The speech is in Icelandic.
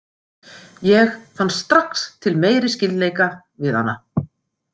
Ég fann strax til meiri skyldleika við hana.